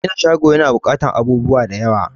Gina shago na buƙatan abubuwa da yawa